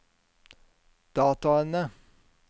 dataene